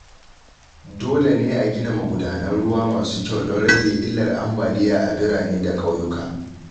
Dole ne a gina magudanan ruwa masu kyau don rage illar ambaliya a birane da kauyuka.